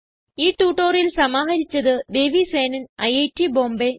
ഈ ട്യൂട്ടോറിയൽ സമാഹരിച്ചത് ദേവി സേനൻ ഐറ്റ് ബോംബേ